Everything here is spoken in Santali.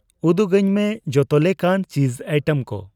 ᱩᱫᱩᱜᱟᱹᱧ ᱢᱮ ᱡᱚᱛᱚ ᱞᱮᱠᱟᱱ ᱪᱤᱡ ᱟᱭᱴᱮᱢ ᱠᱚ ᱾